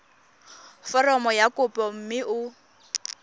foromo ya kopo mme o